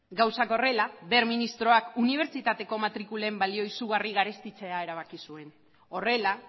gauzak horrela wert ministroak unibertsitateko matrikulen balioa izugarri garestitzea erabaki zuen horrela